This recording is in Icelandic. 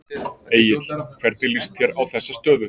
Egill hvernig líst þér á þessa stöðu?